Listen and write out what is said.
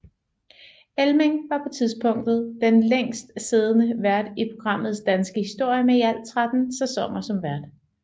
Elming var på tidspunktet den længst siddende vært i programmets danske historie med i alt 13 sæsoner som vært